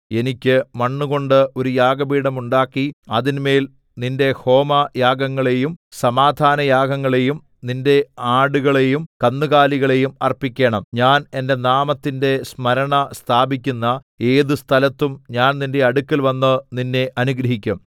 എനിക്ക് മണ്ണുകൊണ്ടു ഒരു യാഗപീഠം ഉണ്ടാക്കി അതിന്മേൽ നിന്റെ ഹോമയാഗങ്ങളെയും സമാധാനയാഗങ്ങളെയും നിന്റെ ആടുകളെയും കന്നുകാലികളെയും അർപ്പിക്കണം ഞാൻ എന്റെ നാമത്തിന്റെ സ്മരണ സ്ഥാപിക്കുന്ന ഏതു സ്ഥലത്തും ഞാൻ നിന്റെ അടുക്കൽവന്ന് നിന്നെ അനുഗ്രഹിക്കും